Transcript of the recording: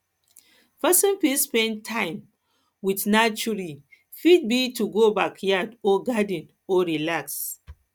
person fit spend time spend time with naturee fit be to go backyard or garden go relax